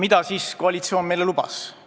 Mida siis koalitsioon meile lubas?